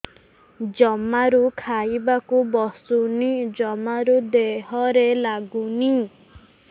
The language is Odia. ଜମାରୁ ଖାଇବାକୁ ବସୁନି ଜମାରୁ ଦେହରେ ଲାଗୁନି